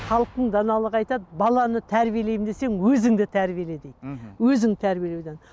халықтың даналығы айтады баланы тәрбиелеймін десең өзіңді тәрбиеле дейді мхм өзіңді тәрбиелеуден